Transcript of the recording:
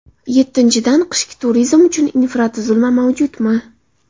Yettinchidan , qishki turizm uchun infratuzilma mavjudmi?